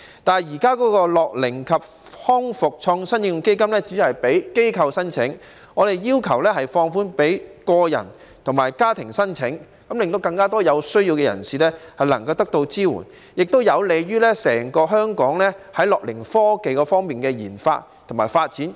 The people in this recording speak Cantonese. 但是，現時的樂齡及康復創科應用基金只供機構申請，我們要求放寬予個人及家庭申請，令更多有需要人士能夠得到支援，亦有利香港的樂齡科技研發及發展。